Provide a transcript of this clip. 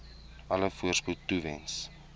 alle voorspoed toewens